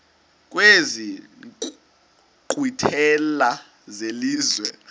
kwezi nkqwithela zelizwe